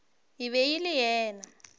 e be e le yena